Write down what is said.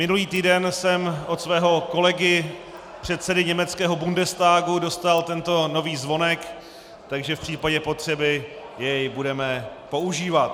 Minulý týden jsem od svého kolegy, předsedy německého Bundestagu, dostal tento nový zvonek, takže v případě potřeby jej budeme používat.